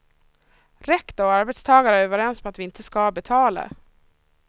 Rektor och arbetstagare är överens om att vi inte ska betala.